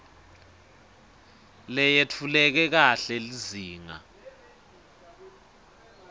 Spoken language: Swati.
leyetfuleke kahle lizinga